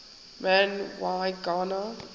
man y gana